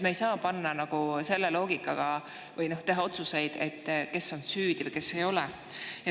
Me ei saa teha otsuseid selle loogika järgi, et kes on süüdi või kes ei ole.